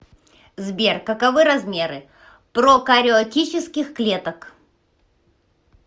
сбер каковы размеры прокариотических клеток